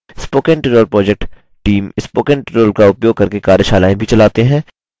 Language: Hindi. spoken tutorial project team spoken tutorial का उपयोग करके कार्यशालाएँ भी चलाते हैं